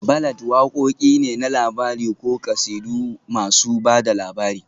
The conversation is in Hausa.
Ballads wakoki ne na labari ko kasidu masu ba da labari